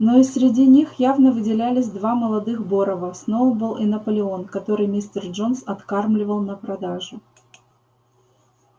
но и среди них явно выделялись два молодых борова сноуболл и наполеон которых мистер джонс откармливал на продажу